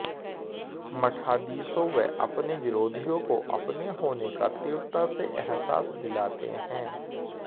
मठाधीशों व अपने विरोधियों को अपने होने का तीव्रता से एहसास दिलाते हैं